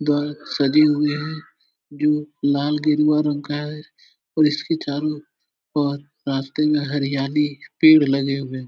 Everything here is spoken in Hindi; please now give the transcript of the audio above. द्वार सजे हुए हैं। जो लाल गेरुआ रंग का है और इसके चारो ओर रास्ते में हरियाली पेड़ लगे हुए हैं।